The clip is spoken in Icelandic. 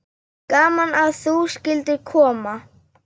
Gaman að þú skyldir koma.